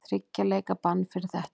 Þriggja leikja bann fyrir þetta?